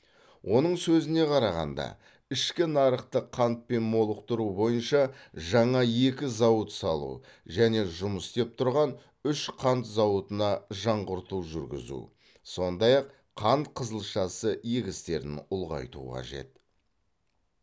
оның сөзіне қарағанда ішкі нарықты қантпен молықтыру бойынша жаңа екі зауыт салу және жұмыс істеп тұрған үш қант зауытына жаңғырту жүргізу сондай ақ қант қызылшасы егістерін ұлғайту қажет